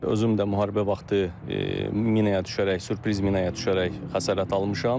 Özüm də müharibə vaxtı minəyə düşərək, sürpriz minəyə düşərək xəsarət almışam.